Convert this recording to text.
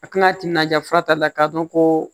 A tina timinandiya fura tali la k'a dɔn ko